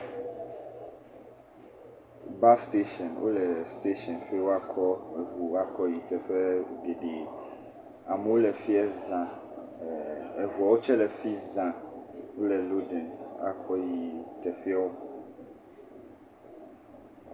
Bas sitashini wole sitashini be wɔakɔ eŋu woakɔ yi teƒe didi. Amewo le fi ya zã. Eŋuawo tse le fiya zã wole lodim be woakɔ yi teƒewo.